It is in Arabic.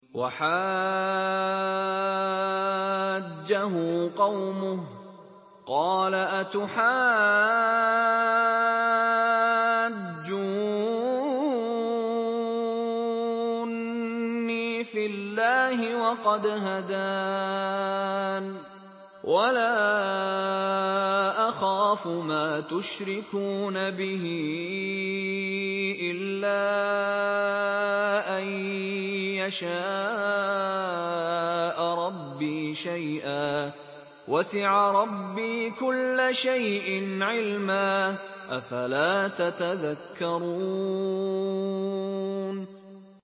وَحَاجَّهُ قَوْمُهُ ۚ قَالَ أَتُحَاجُّونِّي فِي اللَّهِ وَقَدْ هَدَانِ ۚ وَلَا أَخَافُ مَا تُشْرِكُونَ بِهِ إِلَّا أَن يَشَاءَ رَبِّي شَيْئًا ۗ وَسِعَ رَبِّي كُلَّ شَيْءٍ عِلْمًا ۗ أَفَلَا تَتَذَكَّرُونَ